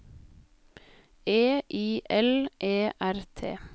E I L E R T